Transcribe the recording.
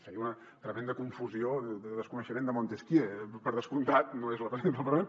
feia una tremenda confusió de desconeixement de montesquieu per descomptat no és la presidenta del parlament